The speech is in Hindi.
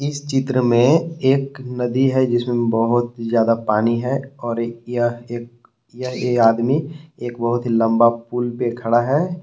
इस चित्र में एक नदी है जिसमें बहुत ही ज्यादा पानी है और एक यह एक यह ये आदमी एक बहुत ही लंबा पुल पे खड़ा है।